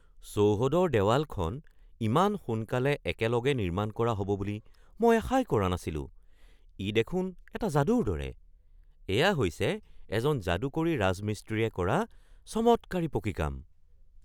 চৌহদৰ দেৱালখন ইমান সোনকালে একেলগে নিৰ্মাণ কৰা হ’ব বুলি মই আশাই কৰা নাছিলোঁ-ই দেখোন এটা যাদুৰ দৰে! এয়া হৈছে এজন যাদুকৰী ৰাজমিস্ত্ৰীয়ে কৰা চমৎকাৰী পকী কাম।